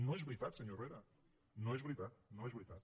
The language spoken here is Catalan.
no és veritat senyor herrera no és veritat no és veritat